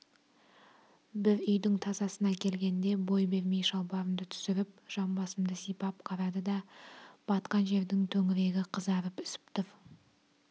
бір үйдің тасасына келгенде бой бермей шалбарымды түсіріп жамбасымды сипап қарады да батқан жердің төңірегі қызарып ісіп тұр